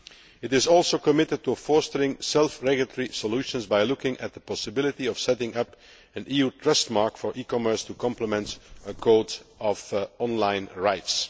It is also committed to fostering self regulatory solutions by looking at the possibility of setting up an EU trust mark for e commerce to complement a code of online rights.